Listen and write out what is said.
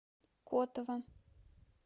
котова